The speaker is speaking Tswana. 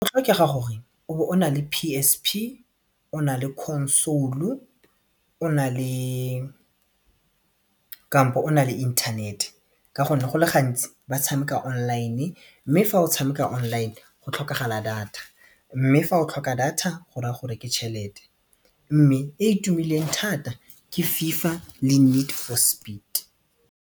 Go tlhokega gore o be o nale PSP o na le console-u, o na le kampo o na le inthanete ka gonne go le gantsi ba tshameka online mme fa o tshameka online go tlhokagala data mme fa o tlhoka data go raya gore ke tšhelete mme e e tumileng thata ke FIFA le Need for Speed.